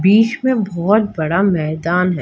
बीच में बहुत बड़ा मैदान है।